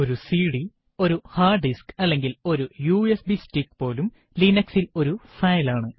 ഒരു സിഡി ഒരു hard disk അല്ലെങ്കിൽ ഒരു യുഎസ്ബി സ്റ്റിക്ക് പോലും Linux ൽ ഒരു ഫയൽ ആണ്